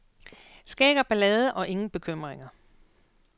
Skæg og ballade og ingen bekymringer.